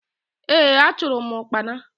Ee! Achụrụ m ụkpana.